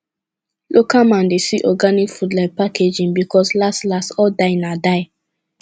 local man dey see organic food like packaging because las las all die na die